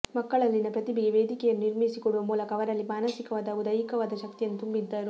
ಮಕ್ಕಳಲ್ಲಿನ ಪ್ರತಿಭೆಗೆ ವೇದಿಕೆಯನ್ನು ನಿರ್ಮಿಸಿಕೊಡುವ ಮೂಲಕ ಅವರಲ್ಲಿ ಮಾನಸಿಕವಾದ ಹಾಗೂ ದೈಹಿಕವಾದ ಶಕ್ತಿಯನ್ನು ತುಂಬಿದ್ದರು